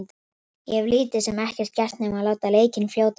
Ég hef lítið sem ekkert gert nema að láta leikinn fljóta eins og hægt er.